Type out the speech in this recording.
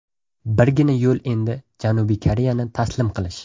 Birgina yo‘l endi Janubiy Koreyani taslim qilish.